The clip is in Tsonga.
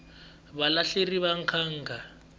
vahlaleri va nkhankha